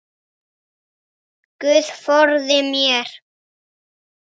Guð forði mér.